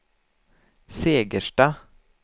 Segersta